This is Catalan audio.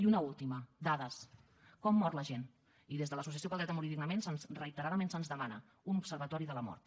i una última dades com mor la gent i des de l’associació pel dret a morir dignament reiteradament se’ns demana un observatori de la mort